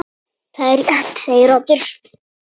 Það er rétt segir Oddur.